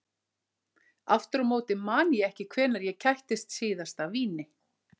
Aftur á móti man ég ekki hvenær ég kættist síðast af víni.